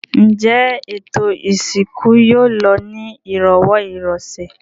Ǹjẹ́ ètò ìsìnkú yóò lọ ní ìrọ̀wọ́-ìrọsẹ̀?